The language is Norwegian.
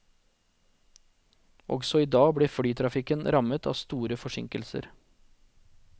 Også i dag ble flytrafikken rammet av store forsinkelser.